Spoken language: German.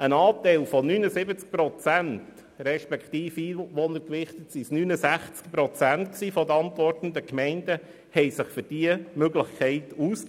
Ein Anteil von 79 Prozent, oder nach Einwohnern gewichtet von 69 Prozent, der antwortenden Gemeinden sprachen sich für diese Möglichkeit aus,